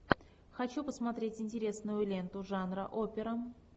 хочу посмотреть интересную ленту жанра опера